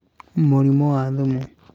Mũrimũ wa thumu